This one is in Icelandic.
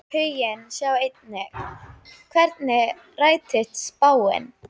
Huginn Sjá einnig: Hvernig rættist spáin?